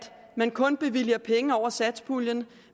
man kun bevilger penge over satspuljen